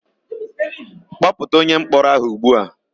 Kpọpụta onyemkpọrọ áhụ̀ ugbu a!